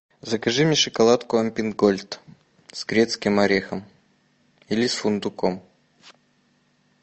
закажи мне шоколадку альпен гольд с грецким орехом или с фундуком